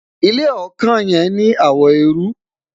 ilé ọkàn yen ní àwo erui